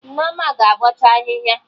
Nneoma ga-abọcha ahịhịa